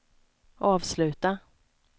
avsluta